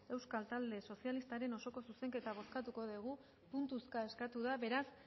euskal talde sozialistaren osoko zuzenketa bozkatuko dugu puntuzka eskatu da beraz